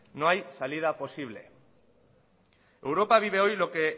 no hay salida posible europa vive hoy lo que